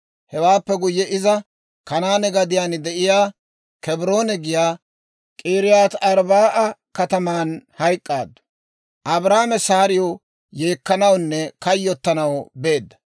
Hewaappe guyye iza Kanaane gadiyaan de'iyaa (Kebroone giyaa) K'iriyaati-Arbba'a kataman hayk'k'aaddu. Abrahaame Saariw yeekkanawunne kayyottanaw beedda.